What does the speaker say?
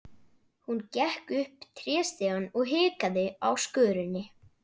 Hún gekk upp tréstigann og hikaði á skörinni.